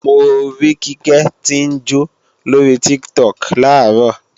Mo rí Kíkẹ́ tí ń jó lórí Tiktok làárọ̀